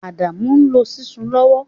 Adamu n lo Ṣísù lowo